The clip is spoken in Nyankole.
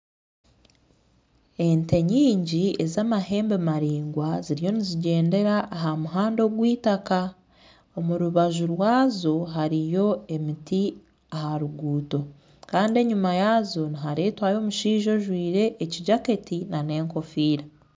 Ente nyingi ez'amahembe maraingwa ziriyo nizigyendera aha muhanda ogw'itaaka omurubaju rwaazo hariyo emiti aha ruguuto kandi enyima yaazo niharetwayo omushaija ojwaire ekijaketi na n'egofiira